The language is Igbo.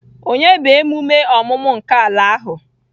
Onye bụ emume ọmụmụ nke ala ahụ?